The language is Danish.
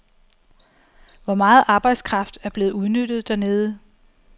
Hvor meget arbejdskraft er blevet udnyttet dernede?